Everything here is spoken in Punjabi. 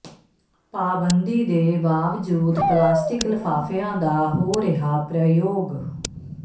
ਪਾਬੰਦੀ ਦੇ ਬਾਵਜੂਦ ਪਲਾਸਟਿਕ ਲਿਫ਼ਾਫ਼ਿਆਂ ਦਾ ਹੋ ਰਿਹਾ ਪ੍ਰਯੋਗ